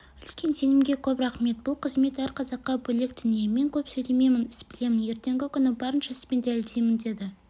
үлкен сенімге көп рахмет бұл қызмет әр қазаққа бөлек дүние мен көп сөйлемеймін іс білемін ертеңгі күні барынша іспен дәлелдеймін деді